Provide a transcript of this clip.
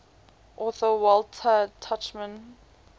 author walter tuchman